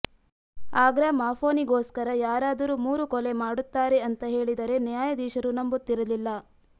ಆಗ್ರಾಮಾಫೋನಿಗೋಸ್ಕರ ಯಾರಾದರೂ ಮೂರು ಕೊಲೆ ಮಾಡುತ್ತಾರೆ ಅಂತ ಹೇಳಿದರೆ ನ್ಯಾಯಾಧೀಶರೂ ನಂಬುತ್ತಿರಲಿಲ್ಲ